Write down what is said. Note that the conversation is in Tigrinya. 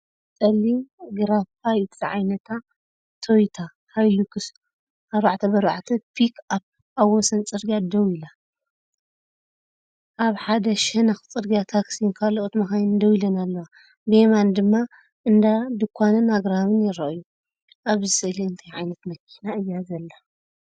እዚ ጸሊም ግራፋይት ዝዓይነታ ቶዮታ ሃይሉክስ 4×4 ፒክኣፕ ኣብ ወሰን ጽርግያ ደው ኢላ። ኣብ ሓደ ሸነኽ ጽርግያ ታክሲን ካልኦት መካይንን ደው ኢለን ኣለዋ። ብየማን ድማ እንዳ ድኳንን ኣግራብን ይረኣዩ። ኣብዚ ስእሊ እንታይ ዓይነት መኪና እያ ዘላ?